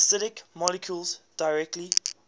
acidic molecules directly